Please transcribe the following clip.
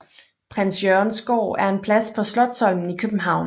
Prins Jørgens Gård er en plads på Slotsholmen i København